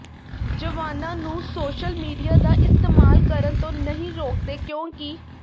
ਜਵਾਨਾਂ ਨੂੰ social media ਦਾ ਇਸਤੇਮਾਲ ਕਰਨ ਤੋਂ ਨਹੀਂ ਰੋਕਦੇ ਕਿਉਂਕਿ